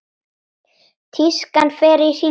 Tískan fer í hringi.